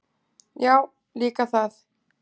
Já, líka það.